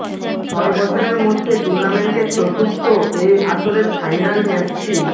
ছয় বছরের মধ্যে টুর্নামেন্টের চতুর্থ এ আসরের ফাইনাল ম্যাচটি